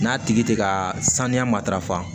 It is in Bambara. N'a tigi tɛ ka saniya matarafa